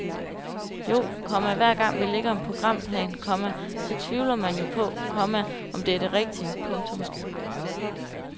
Jo, komma hver gang vi lægger en programplan, komma så tvivler man jo på, komma om det er det rigtige . punktum